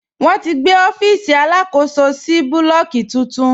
Wọn ti gbé ọfiisi alákòsó sì búlọ́ọ̀kì tuntun.